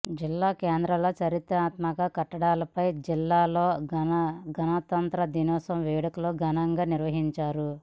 జిల్లా కేంద్రంలోని చారిత్రక కట్టడమైన ఖిల్లా లో గణతంత్ర దినోత్సవ వేడుకలను ఘనంగా నిర్వహించా రు